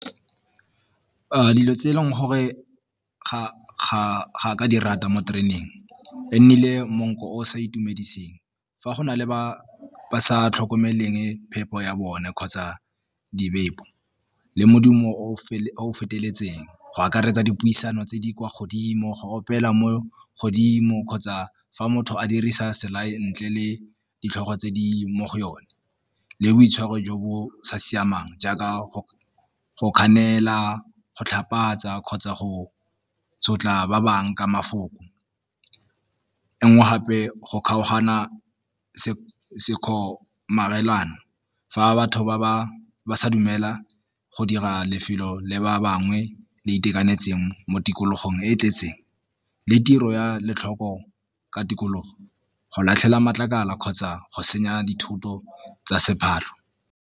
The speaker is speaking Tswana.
Dilo tse e leng gore ga ka di rata mo tereneng e nnile monko o o sa itumediseng fa go na le ba sa tlhokomeleng phepo ya bone kgotsa di le modumo o o feteletseng go akaretsa dipuisano tse di kwa godimo, go opela mo godimo kgotsa fa motho a dirisa ntle le ditlhogo tse di mo go yone, le boitshwaro jo bo sa siamang jaaka tlhapatsa kgotsa go sotla ba bangwe ka mafoko. E nngwe gape go kgaogana fa batho ba sa dumela go dira lefelo dilo le ba bangwe le itekanetseng mo tikologong e e tletseng le tiro ya ka tikologo go latlhela matlakala kgotsa go senya dithoto tsa .